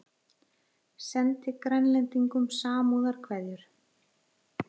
Sendi Grænlendingum samúðarkveðjur